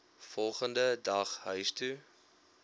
volgende dag huistoe